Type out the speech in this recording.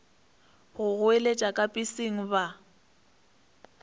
go goeletša ka peseng ba